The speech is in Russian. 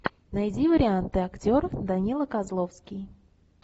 найди варианты актеров данила козловский